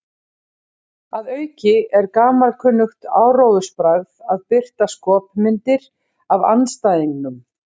Að auki er gamalkunnugt áróðursbragð að birta skopmyndir af andstæðingnum.